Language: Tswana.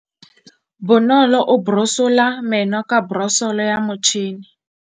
Bonolô o borosola meno ka borosolo ya motšhine.